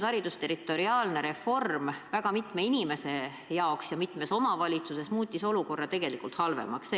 Haldusterritoriaalne reform muutis inimeste olukorra mitmes omavalitsuses halvemaks.